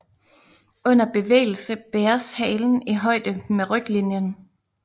Under bevægelse bæres halen i højde med ryglinjen